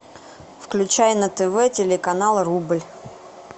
включай на тв телеканал рубль